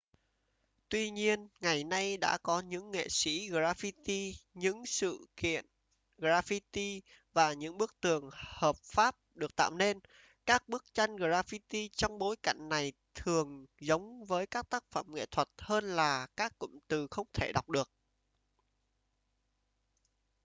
tuy nhiên ngày nay đã có những nghệ sĩ graffiti những sự kiện graffiti và những bức tường hợp pháp được tạo nên các bức tranh graffiti trong bối cảnh này thường giống với các tác phẩm nghệ thuật hơn là các cụm từ không thể đọc được